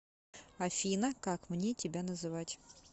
афина как мне тебя называть